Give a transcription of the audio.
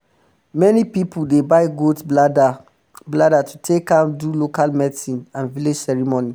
many pipu um dey buy goat blada blada to take am um do local medicine and village ceremony